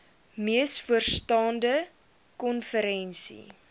mees vooraanstaande konferensie